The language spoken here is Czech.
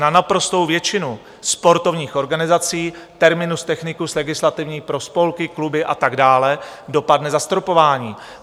Na naprostou většinu sportovních organizací, terminus technicus legislativní pro spolky, kluby a tak dále, dopadne zastropování.